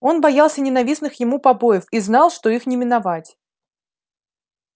он боялся ненавистных ему побоев и знал что их не миновать